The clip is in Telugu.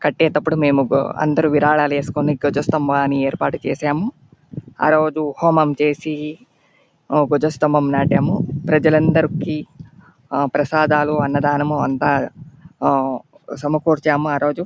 కట్టేటప్పుడు మేము బు అందరూ విరాళాలు ఏసుకుని ధ్వజ స్తంభాన్ని ఏర్పాటు చేసాము. ఆరోజు హోమం చేసి ధ్వజ స్తంభం నాటాము. ప్రజలందరికి ఆ ప్రసాదాలు అన్నదానము అంతా ఆ సమకూర్చాము ఆ రోజు.